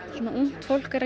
og ungt fólk er